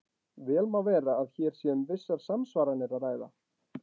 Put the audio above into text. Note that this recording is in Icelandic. Vel má vera að hér sé um vissar samsvaranir að ræða.